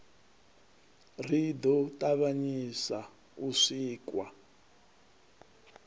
ri ḓo ṱavhanyisa u sikwa